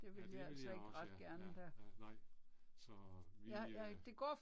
Ja det vil jeg også ja, ja, ja nej. Så vi øh